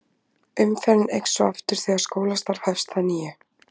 umferðin eykst svo aftur þegar skólastarf hefst að nýju